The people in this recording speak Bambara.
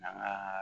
An ka